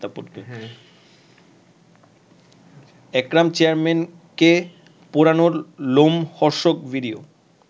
একরাম চেয়ারম্যানকে পোড়ানোর লোমহর্ষক ভিডিও